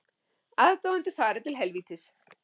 Aðdáendur fari til helvítis